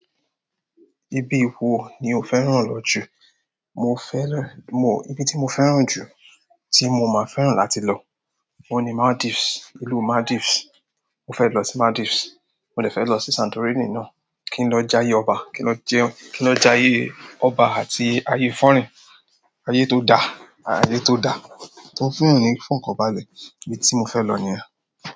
Ibi wo ni o fẹ́ràn lọ jù? Mo fẹ́ràn, mo-- ibi tí mo fẹ́ràn jù, tí mo máa fẹ́ràn láti lọ, òun ni Maldives, ìlú Maldives. Mo fẹ́ lọ sí Maldives, mo lè fẹ́ lọ sí Santorini náà, kí n lọ jayé ọba, kí lọ jayé ọba àti ayé foreign, ayé tó da, ayé tó da, tó fún èèyàn ní ifọkanbalẹ. Ibi tí mo fẹ́ lọ nìyẹn.